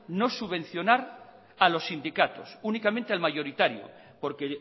no subvencionar a los sindicatos únicamente al mayoritario porque